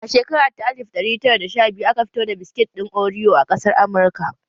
A shekara ta alif ɗari tara da sha biyu aka fito da biskit ɗin oriyo a ƙasar Amurka